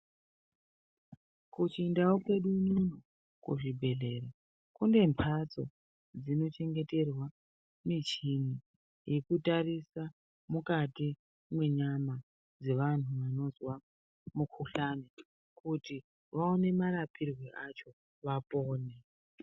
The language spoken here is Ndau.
Kuchindau kwedu unono kuzvibhehlera kune mbatso dzinochengeterwa michini yekutarisa mukati mwenyama dzevanhu vanozwa mukuhlani kuti vaone marapirwe acho vapone.